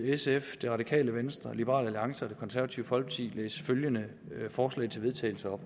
sf det radikale venstre liberal alliance og det konservative folkeparti læse følgende forslag til vedtagelse op